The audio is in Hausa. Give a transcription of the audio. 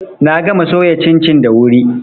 Na gama soya cincin da wuri.